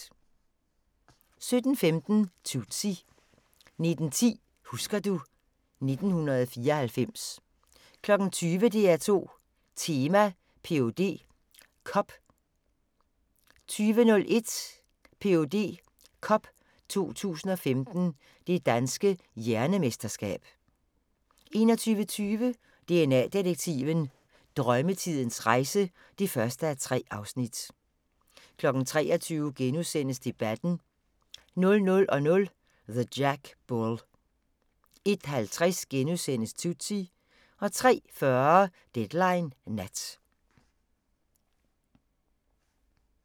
17:15: Tootsie 19:10: Husker du ... 1994 20:00: DR2 Tema: PhD Cup 20:01: Ph.D. Cup 2015 – Det Danske Hjernemesterskab 21:20: DNA-detektiven – Drømmetidens rejse (1:3) 23:00: Debatten * 00:00: The Jack Bull 01:50: Tootsie * 03:40: Deadline Nat